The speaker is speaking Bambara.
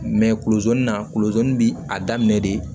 kulo na kulu bi a daminɛ de